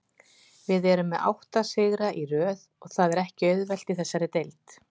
Við erum með átta sigra í röð og það er ekki auðvelt í þessari deild.